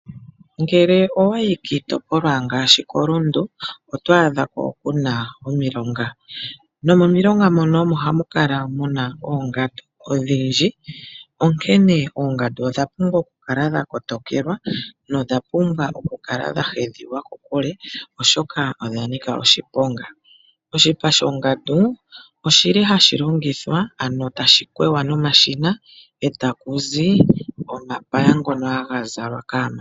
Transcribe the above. Ngele owa yi kiitopolwa ngaashi koRundu oto a dhako kuna omilonga, nomomilonga mono omo hamu kala muna oongandu odhindji, onkene oongandu odha pumbwa oku kala dhakotokelwa nodha pumbwa oku kala dha hedhi wa kokule oshoka odha nika oshiponga. Oshipa shongandu oshili hashi longithwa ano tashi kwewa nomashina e taku zi omapaya ngono haga zalwa kaamati.